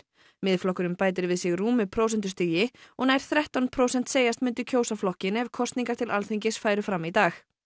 Miðflokkurinn bætir við sig rúmu prósentustigi og nær þrettán prósent segjast myndu kjósa flokkinn ef kosningar til Alþingis færu fram í dag